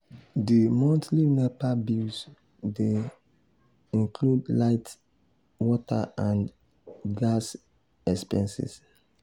di monthly nepa bills dey um include light water and um gas um expenses.